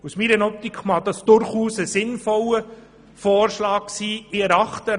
Aus meiner Optik mag dies ein sinnvoller Vorschlag sein.